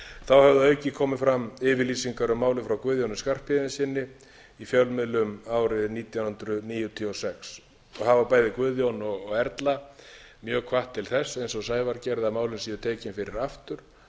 þá höfðu að auki komið fram yfirlýsingar um málið frá guðjóni skarphéðinssyni í fjölmiðlum árið nítján hundruð níutíu og sex og hafa bæði guðjón og erla mjög hvatt til þess eins og sævar gerði að málin séu tekin fyrir aftur